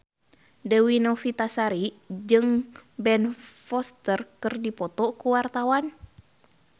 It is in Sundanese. Dewi Novitasari jeung Ben Foster keur dipoto ku wartawan